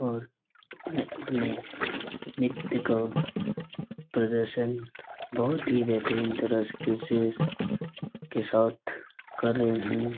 और उठने-उठने नृत्य को प्रदर्शन बहुत ही बेहतरीन तरह से आकर्षिक के साथ कर रहे है।